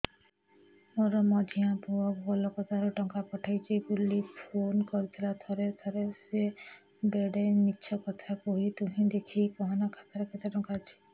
ମୋର ମଝିଆ ପୁଅ କୋଲକତା ରୁ ଟଙ୍କା ପଠେଇଚି ବୁଲି ଫୁନ କରିଥିଲା ଥରେ ଥରେ ସିଏ ବେଡେ ମିଛ କଥା କୁହେ ତୁଇ ଦେଖିକି କହନା ଖାତାରେ କେତ ଟଙ୍କା ଅଛି